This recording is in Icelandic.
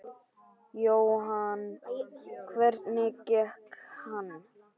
Jóhann: Hvernig gekk hann?